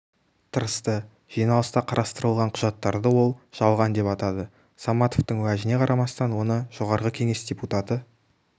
тырысты жиналыста қарастырылған құжаттарды ол жалған деп атады саматовтың уәжіне қарамастан оны жогорку кенеш депутаты